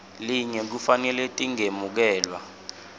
linye kufanele tingemukelwa